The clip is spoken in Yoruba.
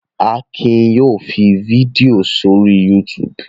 Akin yóò fi fídíò sórí YouTube.